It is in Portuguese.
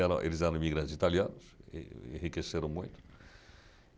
eram eles eram imigrantes italianos, enriqueceram muito.